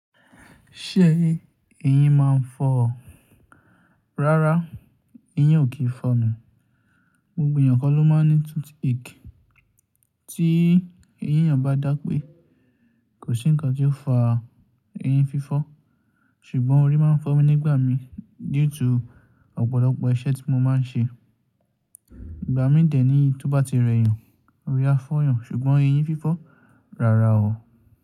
Ṣé eyín máa ń fọ́ ọ? Rárá, eyín ò kí ń fọ́ mi. Gbogbo èyàn kọ́ ló máa ń ní tooth pick Tí eyín èyàn bá dà pé kò sí nǹkan tí ó fa eyín fífọ́ ṣùgbọ́n orí máa ń fọ́ mi nígbà mí Nítorí ọ̀pọ̀lọpọ̀ iṣẹ́ tí mo máa ń ṣe. Ìgbà mí dẹ̀ ní tó bá ti rẹ yàn orí á fọ́ yàn ṣùgbọ́n eyín fífọ́, rárá o.